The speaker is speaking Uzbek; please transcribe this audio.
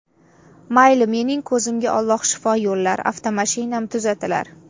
Mayli, mening ko‘zimga Alloh shifo yo‘llar, avtomashinam tuzatilar.